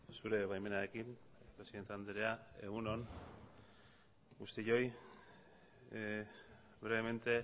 zure baimenarekin presidente andrea egun on guztioi brevemente